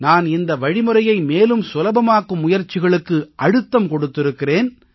நான் இந்த வழிமுறையை மேலும் சுலபமாக்கும் முயற்சிகளுக்கு அழுத்தம் கொடுத்திருக்கிறேன்